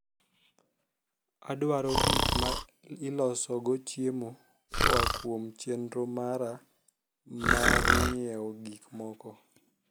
adwaro gik ma iloso go chiemo koa kuom chenro mara mar nyiew gik moko